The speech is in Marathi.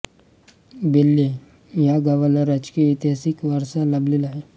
बेल्हे या गावाला राजकीय ऐतिहासिक वारसा लाभलेला आहे